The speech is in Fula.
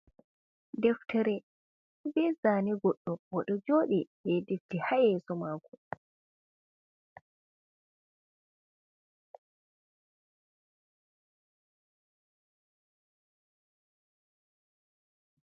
Deftere bezane goɗɗo oɗo joɗi be difti ha yeso mako.